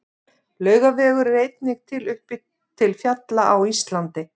Laugavegur er einnig til uppi til fjalla á Íslandi.